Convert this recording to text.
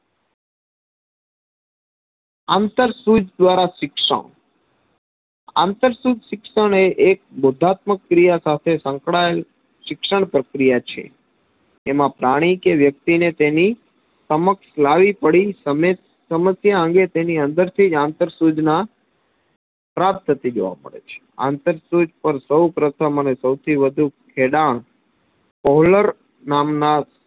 સમસ્યા અંગે તેની અંદરથી જ આંતર સૂચના પ્રાપ્ત થતી જોવા મળે છે. અંતર સુજ પાર સૌપ્રથમ અને સૌથી વધુ ખેડાણ કોહલર નામના